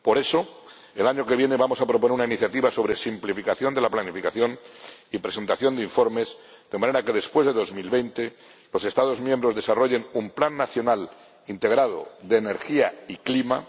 Por eso, el año que viene vamos a proponer una iniciativa sobre simplificación de la planificación y presentación de informes de manera que, después de 2020, los Estados miembros desarrollen un plan nacional integrado de energía y clima